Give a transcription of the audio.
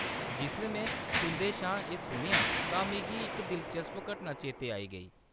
जिसलै में तुंʼदे शा एह्‌‌ सुनेआ तां मिगी इक दिलचस्प घटना चेतै आई गेई।